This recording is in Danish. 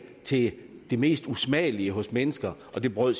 til det mest usmagelige hos mennesker og det bryder